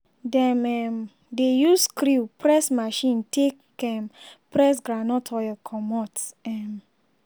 dem um dey use screw press machine take um press groundnut oil comot. um